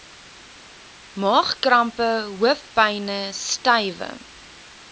maagkrampe hoofpyne stywe